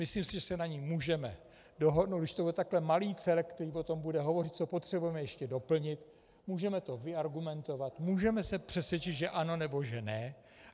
Myslím si, že se na ní můžeme dohodnout, když to bude takový malý celek, který o tom bude hovořit, co potřebujeme ještě doplnit, můžeme to vyargumentovat, můžeme se přesvědčit, že ano, nebo že ne.